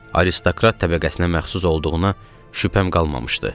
Aristokrat təbəqəsinə məxsus olduğuna şübhəm qalmamışdı.